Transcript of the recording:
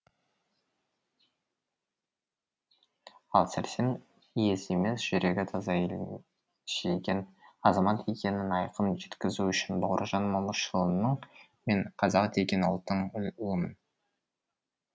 ал сәрсен ез емес жүрегі таза елін сүйген азамат екенін айқын жеткізу үшін бауыржан момышұлының мен қазақ деген ұлттың ұлымын